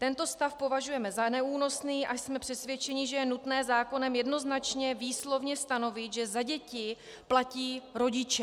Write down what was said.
Tento stav považujeme za neúnosný a jsme přesvědčeni, že je nutné zákonem jednoznačně výslovně stanovit, že za děti platí rodiče.